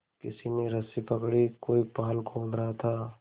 किसी ने रस्सी पकड़ी कोई पाल खोल रहा था